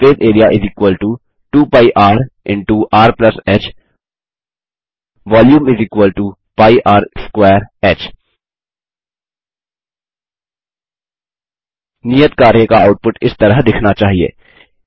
surface area 2 π rर ह volume π r2h नियत कार्य का आउटपुट इस तरह दिखना चाहिए